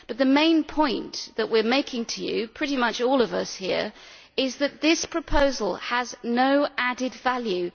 However the main point that we are making to you, pretty much all of us here, is that this proposal has no added value.